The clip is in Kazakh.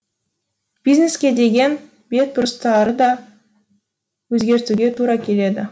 бизнеске деген бетбұрыстары да өзгертуге тура келеді